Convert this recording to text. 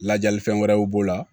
Lajɛli fɛn wɛrɛw b'o la